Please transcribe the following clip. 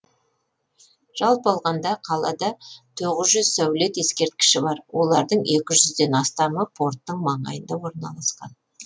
жалпы алғанда қалада тоғыз жүз сәулет ескерткіші бар олардың екі жүзден астамы порттың маңайында орналасқан